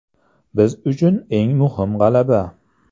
Biz uchun eng muhim g‘alaba.